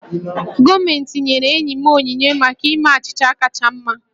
Gọọmentị nyere enyi m onyinye maka ime achịcha kacha mma